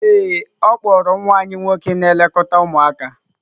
Ee e, ọ kpọọrọ nwa anyị nwoke na-elekọta ụmụaka.